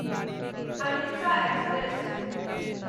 अहिंसा एक्सप्रेस